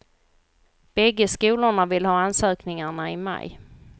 Bägge skolorna vill ha ansökningarna i maj.